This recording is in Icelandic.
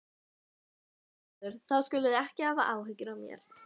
skrifar Gerður, þá skuluð þið ekki hafa áhyggjur af mér.